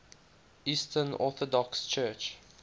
eastern orthodox church